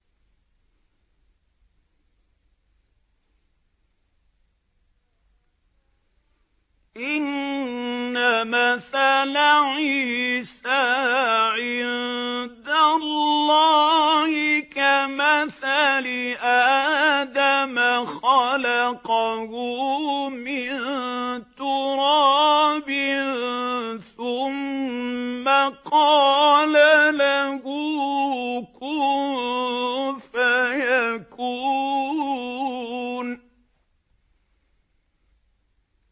إِنَّ مَثَلَ عِيسَىٰ عِندَ اللَّهِ كَمَثَلِ آدَمَ ۖ خَلَقَهُ مِن تُرَابٍ ثُمَّ قَالَ لَهُ كُن فَيَكُونُ